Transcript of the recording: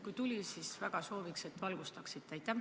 Kui tuli, siis väga sooviks, et seda valgustate.